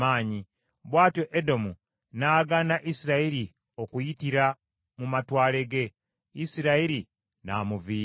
Bw’atyo Edomu n’agaana Isirayiri okuyitira mu matwale ge, Isirayiri n’amuviira.